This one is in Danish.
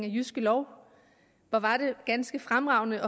af jyske lov hvor var det ganske fremragende